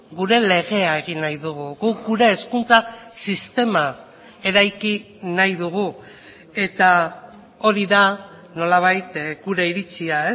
gure legea egin nahi dugu guk gure hezkuntza sistema eraiki nahi dugu eta hori da nolabait gure iritzia